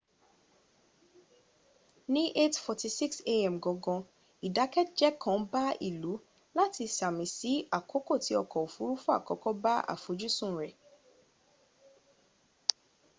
ni 8:46 a.m. gangan idakeje kan ba le ilu lati sami si akoko ti ọkọ ofurufu akọkọ ba afojusun rẹ